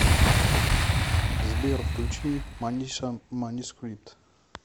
сбер включи маниша манускрипт